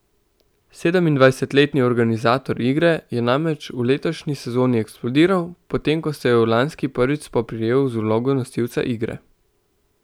Sedemindvajsetletni organizator igre je namreč v letošnji sezoni eksplodiral, potem ko se je v lanski prvič spoprijel z vlogo nosilca igre.